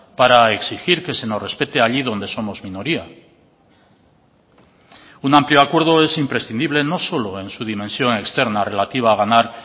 para exigir que se nos respete allí donde somos minoría un amplio acuerdo es imprescindible no solo en su dimensión externa relativa a ganar